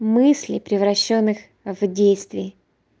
мысли превращённых в действий